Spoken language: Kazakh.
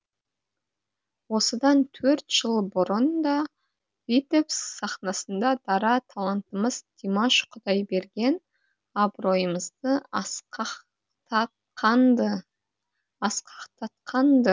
осыдан төрт жыл бұрын да витебск сахнасында дара талантымыз димаш құдайберген абыройымызды асқақтатқан ды